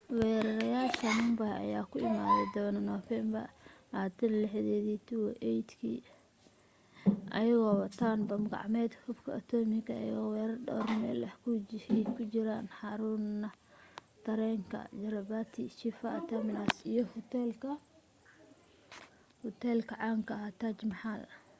weerareyaasha mumbai ayaa ku imaaday doon nofeembar 26 2008 iyagoo wataan bam gacmeed hubka otomatik iyagoo weerarey dhawr meel ay ku jiraan xaruunra tareenka chhatrapati shivaji terminus iyo hoteelka caanka taj mahal